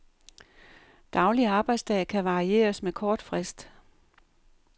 Daglig arbejdsdag kan varieres med kort frist.